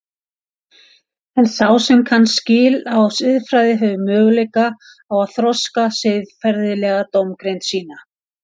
En sá sem kann skil á siðfræði hefur möguleika á að þroska siðferðilega dómgreind sína.